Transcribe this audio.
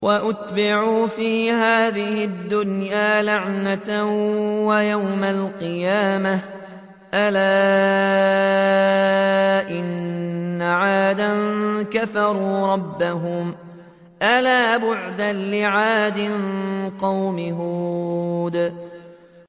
وَأُتْبِعُوا فِي هَٰذِهِ الدُّنْيَا لَعْنَةً وَيَوْمَ الْقِيَامَةِ ۗ أَلَا إِنَّ عَادًا كَفَرُوا رَبَّهُمْ ۗ أَلَا بُعْدًا لِّعَادٍ قَوْمِ هُودٍ